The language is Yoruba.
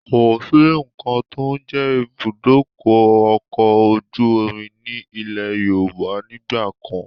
Kosi nkan to ń jẹ́ ibùdókọ̀ ọkọ̀ ojú omi ni ilẹ̀ Yorùbá nígbàkan